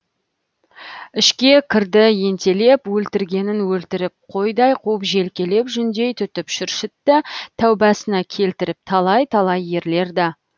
ішке кірді ентелеп өлтіргенін өлтіріп қойдай қуып желкелеп жүндей түтіп шүршітті тәубасына келтіріп талай талай ерлерді